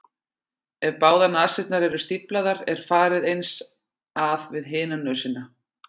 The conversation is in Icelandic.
Ef báðar nasirnar eru stíflaðar er farið eins að við hina nösina.